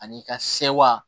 Ani i ka sewa